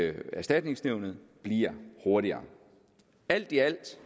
erstatningsnævnet bliver hurtigere alt i alt